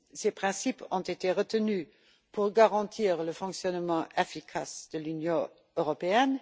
Ces principes ont été retenus pour garantir le fonctionnement efficace de l'Union européenne.